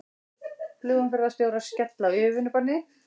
Flugumferðarstjórar skella á yfirvinnubanni